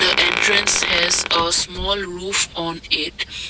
the entrance has a small roof on it.